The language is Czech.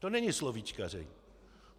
To není slovíčkaření.